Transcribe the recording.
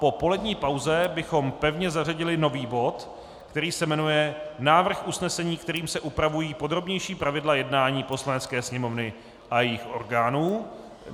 Po polední pauze bychom pevně zařadili nový bod, který se jmenuje Návrh usnesení, kterým se upravují podrobnější pravidla jednání Poslanecké sněmovny a jejích orgánů.